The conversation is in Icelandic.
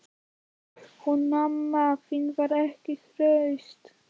Hún mamma þín var ekki hraust.